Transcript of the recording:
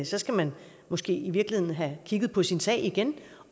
så skal man måske i virkeligheden have kigget på sin sag igen